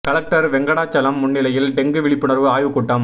collector Venkatachalam முன்னிலையில் dengue விழிப்புணர்வு ஆய்வுக்கூட்டம்